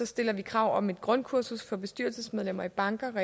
stiller vi krav om et grundkursus for bestyrelsesmedlemmer i banker